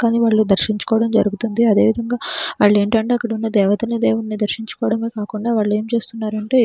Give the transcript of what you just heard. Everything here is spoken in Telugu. కానీ వాళ్లు దర్శించుకోవడం జరుగుతుంది అదేవిధంగా వాళ్లు ఏంటంటే అక్కడున్న దేవతని దేవున్ని దర్శించుకోవడం కాకుండా వాళ్లు ఏం చేస్తున్నారంటే --